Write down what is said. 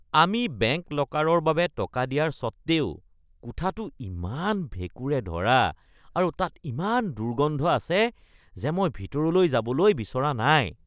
আমি বেংক লকাৰৰ বাবে টকা দিয়াৰ সত্বেও, কোঠাটো ইমান ভেকুঁৰে ধৰা আৰু তাত ইমান দুৰ্গন্ধ আছে যে মই ভিতৰলৈ যাবলৈ বিচৰা নাই।